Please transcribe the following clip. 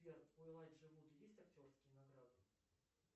сбер у элайджа вуд есть актерские награды